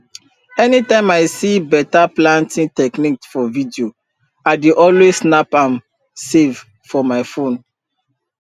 anytime i see better planting technique for video i dey always snap am save for my phone